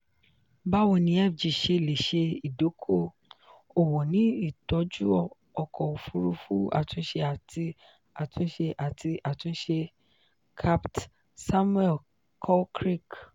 bawo ni fg ṣe le ṣe idoko-owo ni itọju ọkọ ofurufu atunṣe ati atunṣe ati atunṣe - capt samuel caulcrick.